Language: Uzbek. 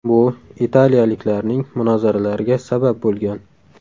Bu italiyaliklarning munozaralariga sabab bo‘lgan.